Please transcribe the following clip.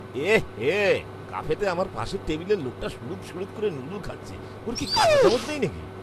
এঃহে! ক্যাফেতে আমার পাশের টেবিলের লোকটা সুড়ুৎ সুড়ুৎ করে নুডল খাচ্ছে। ওর কি কাঁটাচামচ নেই নাকি?